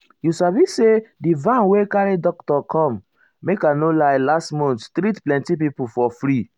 you sabi say di van wey carry doctor come make i no lie last month treat plenty people for free.